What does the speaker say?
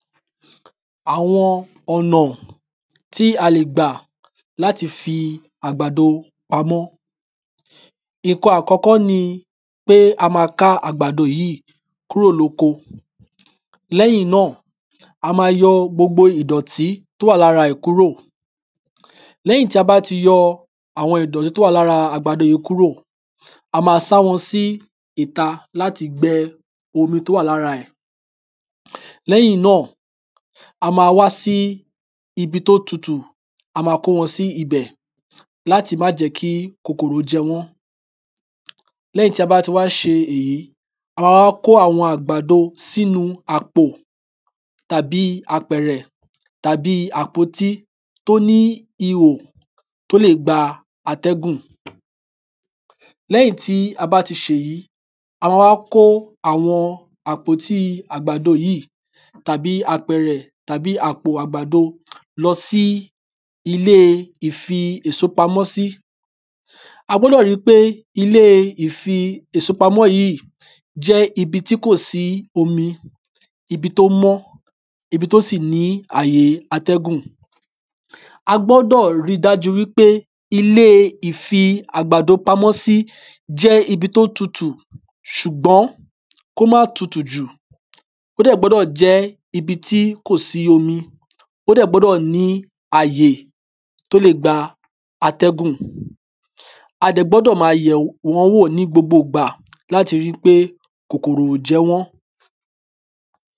àwọn ọ̀nà tí a lè gbà láti fi àgbàdo pamọ́ nnkan àkọ́kọ́ ni pe a ma ká àgbàdo yí kúrò lóko lẹ́yìn nà a ma yọ gbogbo ìdọ̀tí tó wà lára ẹ̀ kúrò lẹ́yìn ti a bá ti yọ àwọn ìdọ̀tí tó wà lára àgbàdo yí kúrò a ma sá wọn sí ìta láti gbẹ omi tí ó wà lára ẹ̀? lẹ́yìn nà a ma wá sí ibi tí ó tutù a ma kó wọn sí ibẹ̀ láti má jẹ́ kí kòkòrò jẹ wọ́n lẹ́yìn ti a bá ti wá ṣe èyí a a wá kó àwọn àgbàdò sínu àpọ̀ tàbí apẹ̀rẹ̀ tàbí àpótí tó ní ihò tó lè gba atẹ́gùn? lẹ́yìn tí a bá ti ṣèyí a ma wá kó àwọn àpótí àgbàdo yí tàbí àpẹ̀rẹ̀ tàbí àpò àgbàdo? lọsí ilé ìfi èso pamọ́ sí a gbọ́dọ̀ ri pé ilé ìfi èso pamọ́ yí jẹ́ ibi tí kò sí omi ibi tí ó mọ ibi tí ó sì ní àye atẹ́gùn? a gbódò ri dájú wípé ilé ìfi àgbàdo pamọ́ sí? jẹ́ ibi tí ó tutù? sùgbọ́n? kó má tutù jù? ó dè gbódò jẹ́ ibi tí kò sí omi ó dè gbódò ní àyè tó lè gba atẹ́gùn? a dẹ̀ gbódò ma yẹ̀ wọ́n wọ̀ ní gbogbo ìgbà láti ri pé kòkòrò ò jẹ wọ́n